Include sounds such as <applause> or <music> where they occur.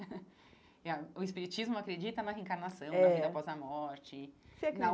<laughs> É O espiritismo acredita na reencarnação, é na vida após a morte, na você